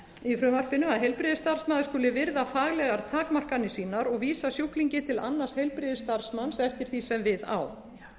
í frumvarpinu að heilbrigðisstarfsmaður skuli virða faglegar takmarkanir sínar og vísa sjúklingi til annars heilbrigðisstarfsmanns eftir því sem við á